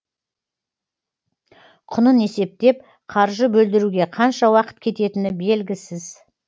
құнын есептеп қаржы бөлдіруге қанша уақыт кететіні белгісіз